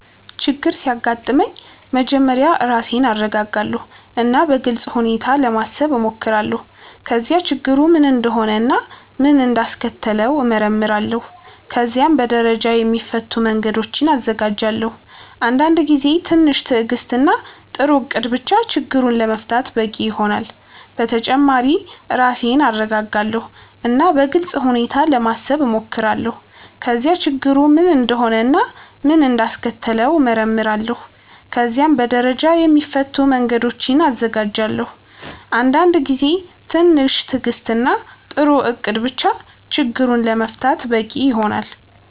ችግር ሲያጋጥመኝ መጀመሪያ ራሴን እረጋጋለሁ እና በግልጽ ሁኔታ ለማሰብ እሞክራለሁ። ከዚያ ችግሩ ምን እንደሆነ እና ምን እንዳስከተለው እመረምራለሁ። ከዚያም በደረጃ የሚፈቱ መንገዶችን እዘጋጃለሁ። አንዳንድ ጊዜ ትንሽ ትዕግስት እና ጥሩ እቅድ ብቻ ችግሩን ለመፍታት በቂ ይሆናል። በተጨማሪ ራሴን እረጋጋለሁ እና በግልጽ ሁኔታ ለማሰብ እሞክራለሁ። ከዚያ ችግሩ ምን እንደሆነ እና ምን እንዳስከተለው እመረምራለሁ። ከዚያም በደረጃ የሚፈቱ መንገዶችን እዘጋጃለሁ። አንዳንድ ጊዜ ትንሽ ትዕግስት እና ጥሩ እቅድ ብቻ ችግሩን ለመፍታት በቂ ይሆናል።